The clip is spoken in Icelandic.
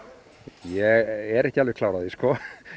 ég er ekki alveg klár á því